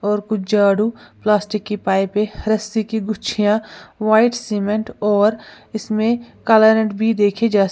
और कुछ झाड़ू प्लास्टिक की पाइपे रस्सी की गुछींया व्हाइट सीमेंट और इसमें काला रंग भी देखे जा--